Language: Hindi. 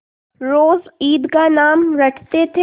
रोज ईद का नाम रटते थे